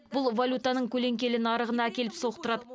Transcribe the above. бұл валютаның көлеңкелі нарығына әкеліп соқтырады